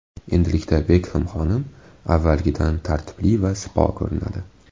Endilikda Bekhem xonim avvalgidan tartibli va sipo ko‘rinadi.